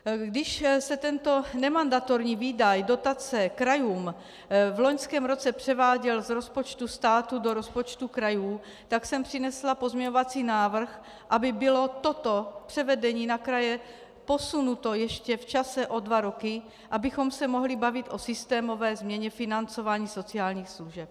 Když se tento nemandatorní výdaj, dotace krajům, v loňském roce převáděl z rozpočtu státu do rozpočtu krajů, tak jsem přinesla pozměňovací návrh, aby bylo toto převedení na kraje posunuto ještě v čase o dva roky, abychom se mohli bavit o systémové změně financování sociálních služeb.